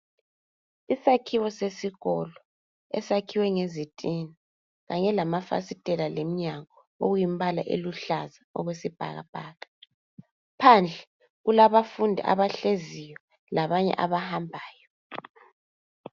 Isakhiwo sesikolo, esakhiwe ngezitina kanye lamafasitela lemnyango okuyimbala eluhlaza okwesibhakabhaka. Phandle, kulabafundi abahleziyo labanye abahambayo.